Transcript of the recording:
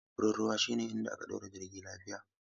Wurin ruwa shine inda aka ɗaure jirgi lafiya.